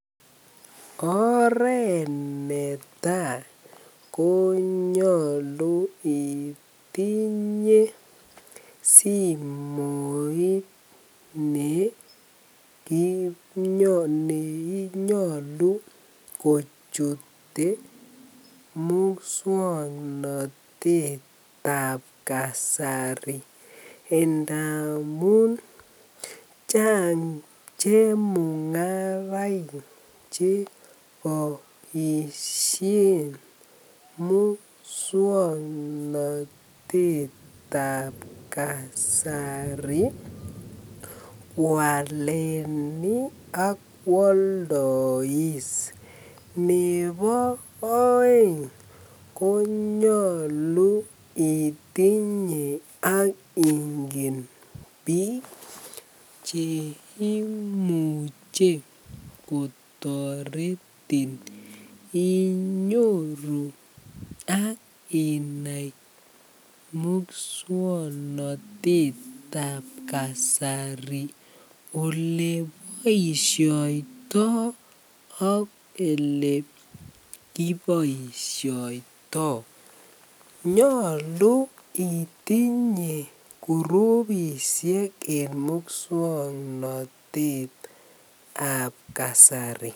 Oret netai konyolu itinye simoit ne nyolu kochute muswongnotet tab kasari ndamun chang chemungaraik che komoishen muswongnotet tab kasari walani ak woldois nebo oeng ko ko nyolu itinye ingen bik cheimuche kotoretin inyoru ak inai muswongnotettab kasari olekiboishiotoi ak ele kiboishoito yolu itinye kurubishek en muswongnotettab kasari